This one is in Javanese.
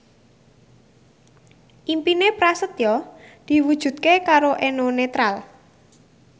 impine Prasetyo diwujudke karo Eno Netral